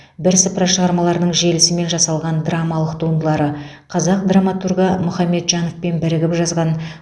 бірсыпыра шығармаларының желісімен жасалған драмалық туындылары қазақ драматургі мұхамеджановпен бірігіп жазған